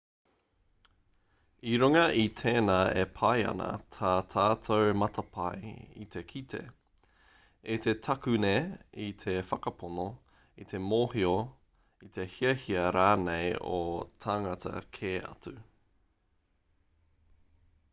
i runga i tēnā e pai ana tā tātou matapae i te kite i te takune i te whakapono i te mōhio i te hiahia rānei o tāngata kē atu